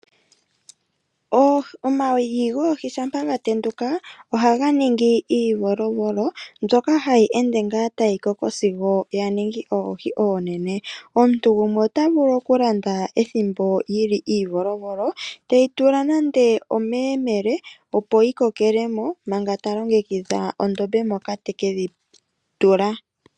Omayi goohi shampa gatenduka ohaga ningi iivolovolo, mbyoka hayi ende ngaa tayi koko sigo yaningi oohi oonene. Omuntu gumwe otavulu okulanda ethimbo yili iivolovolo, teyi tula nando omeyemele opo yi kokele mo manga talongekidha ondombe moka te ke dhitula.